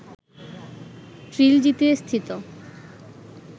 ট্রিলজিতে স্থিত